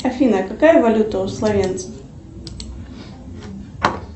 афина какая валюта у словенцев